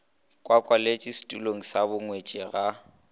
kwakwaletše setulong sa bongwetši ga